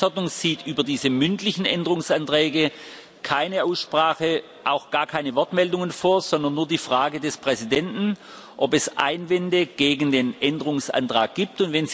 Die Geschäftsordnung sieht über diese mündlichen Änderungsanträge keine Aussprache, auch gar keine Wortmeldungen vor, sondern nur die Frage des Präsidenten, ob es Einwände gegen den Änderungsantag gibt.